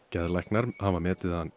geðlæknar hafa metið hann